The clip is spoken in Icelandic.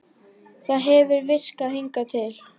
Það hefur virkað hingað til.